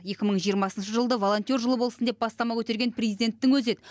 екі мың жиырмасыншы жылды волонтер жылы болсын деп бастама көтерген президенттің өзі еді